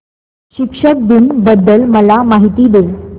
शिक्षक दिन बद्दल मला माहिती दे